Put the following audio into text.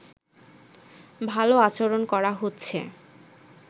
ভালো আচরণ করা হচ্ছে